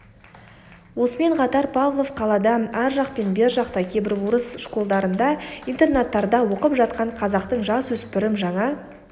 осымен қатар павлов қалада ар жақ пен бер жақта кейбір орыс школдарында интернаттарда оқып жатқан қазақтың жасөспірім жаңа